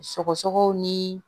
Sɔgɔsɔgɔw ni